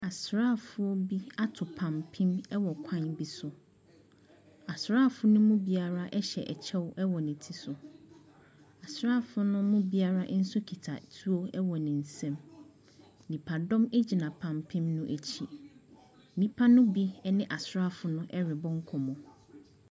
Asraafo bi ato pampem wɔ kwan bi so. Asraafo no mu biara hyɛ kyɛw wɔ ne ti so. Asraafo no mu biara nso kita tuo wɔ ne nsam. Nnipadɔn gyina pampen no akyi. Nnipa no bi ne asraafo no rebɔ nkɔmmɔ.